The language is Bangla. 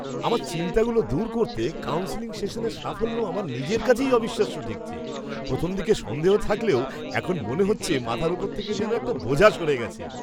আমার চিন্তাগুলো দূর করতে কাউন্সেলিং সেশনের সাফল্য আমার নিজের কাছেই অবিশ্বাস্য ঠেকছে। প্রথমদিকে সন্দেহ থাকলেও এখন মনে হচ্ছে মাথার ওপর থেকে যেন একটা বোঝা সরে গেছে।